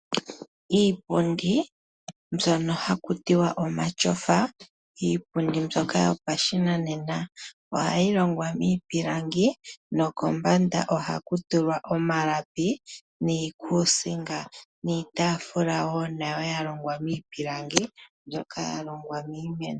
Iipundi mbyono hakutiwa omatyofa, iipundi mbyoka yopashinanena ohayi longwa miipilangi nokombanda ohaku tulwa omalapi niikuusinga niitaafula wo nayo ya longwa miipilangi mbyoka ya longwa miimeno.